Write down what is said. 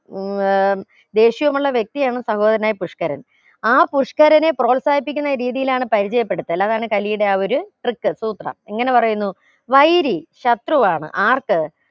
ഏർ ദേഷ്യമുള്ള വ്യക്തി എന്ന സഹോദരനായ പുഷ്ക്കരൻ ആ പുഷ്ക്കരനെ പ്രോത്സാഹിപ്പിക്കുന്ന രീതിയിലാണ് പരിചയപ്പെടുത്തൽ അതാണ് കലിയുടെ ആ ഒരു trick സൂത്രം എങ്ങനെ പറയുന്നു വൈരി ശത്രുവാണ് ആർക്ക്